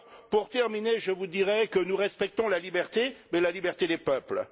Pour conclure, je vous dirai que nous respectons la liberté, mais la liberté des peuples.